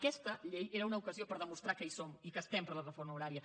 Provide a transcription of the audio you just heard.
aquesta llei era una ocasió per demostrar que hi som i que estem per la reforma horària